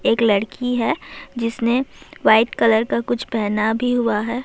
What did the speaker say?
ایک لڑکی ہے جس نے وائٹ کلر کا کچھ پہنا بھی ہوا ہے